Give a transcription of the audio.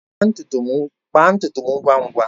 Kpaa ntutu m ngwa ngwa!